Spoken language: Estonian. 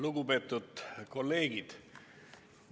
Lugupeetud kolleegid!